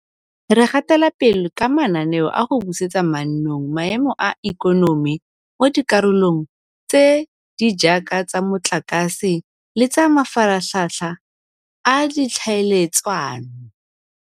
Re gatela pele ka mananeo a go busetsa mannong maemo a ikonomi mo dikarolong tse di jaaka tsa motlakase le tsa mafaratlhatlha a ditlhaeletsano.